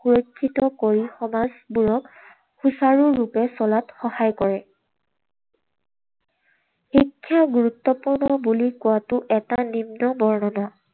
সুৰক্ষিত কৰি সমাজবোৰক সুচাৰুৰূপে চলাত সহায় কৰে। শিক্ষা গুৰুত্বপূৰ্ণ বুলি কোৱাটো এটা নিম্ন বৰ্ণনা।